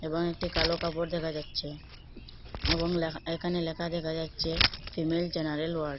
এবং একটি কালো কাপড় দেখা যাচ্ছে এবং ল্যাখা এখানে লেখা দেখা যাচ্ছে ফিমেল জেনারেল ওয়ার্ড